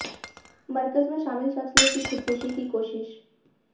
मरकज में शामिल शख्स ने की खुदकुशी की कोशिश